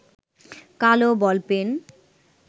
কালো বলপেন